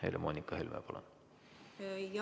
Helle-Moonika Helme, palun!